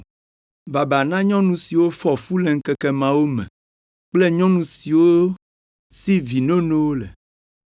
“Baba na nyɔnu siwo fɔ fu le ŋkeke mawo me kple nyɔnu siwo si vi nonowo le.